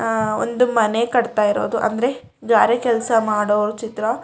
ಆಹ್ಹ್ ಒಂದು ಮನೆ ಕಟ್ತಾ ಇರೋದು ಅಂದ್ರೆ ಗಾರೆ ಕೆಲಸ ಮಾಡೋವರ ಚಿತ್ರ --